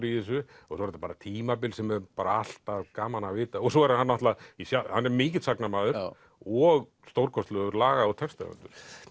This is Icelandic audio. í þessu og svo er þetta tímabil sem er alltaf gaman að vita svo er hann hann mikill sagnamaður og stórkostlegur laga og textahöfundur